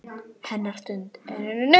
Hennar stund er runnin upp.